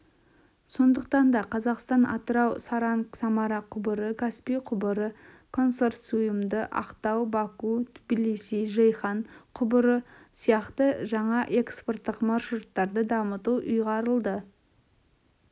сондықтан да қазақстан атырау-саранск-самара құбыры каспий құбыры консорциумы ақтау-баку-тбилиси-жейхан құбыры сияқты жаңа экспорттық маршруттарды дамыту ұйғарылды